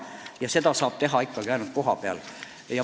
Ning seda saab ikkagi teha ainult kohapeal.